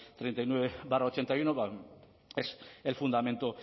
treinta y nueve barra ochenta y uno es el fundamento